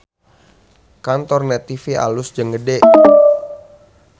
Kantor Net TV alus jeung gede